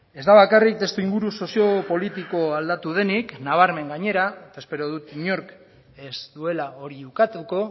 ez da bakarrik testuinguru sozio politikoa aldatu denik nabarmen gainera eta espero dut inork ez duela hori ukatuko